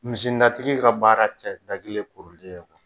Misi natigi ka baara tɛ da kelen ye